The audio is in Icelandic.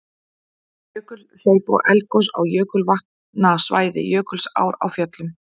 Jökulhlaup og eldgos á jökulvatnasvæði Jökulsár á Fjöllum.